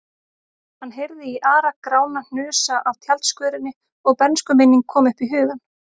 Hann heyrði Ara-Grána hnusa af tjaldskörinni og bernskuminning kom upp í hugann.